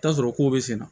I bi t'a sɔrɔ ko bɛ senna